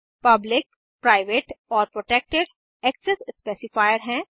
public private और protected access specifier हैं